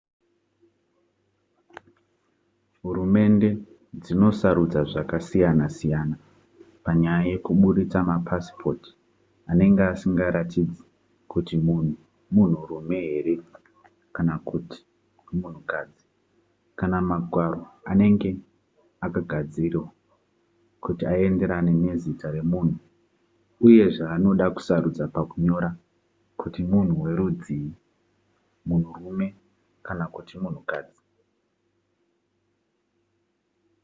hurumende dzinosarudza zvakasiyana-siyana panyaya yekubudisa mapasipoti anenge asingaratidzi kuti munhu munhurume here kana kuti munhukadzi kana magwaro anenge akagadziridzwa kuti aenderane nezita remunhu uye zvaanoda kusarudza pakunyora kuti munhu werudzii munhurume kana kuti munhukadzi